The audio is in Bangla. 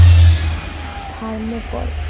থার্মোকল